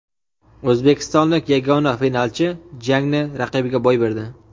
O‘zbekistonlik yagona finalchi jangni raqibiga boy berdi.